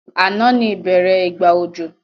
Ànán ni ìbẹ́rẹ́ ìgbà òjò